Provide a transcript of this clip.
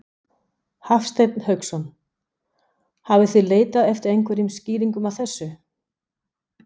Hafsteinn Hauksson: Hafið þið leitað eftir einhverjum skýringum á þessu?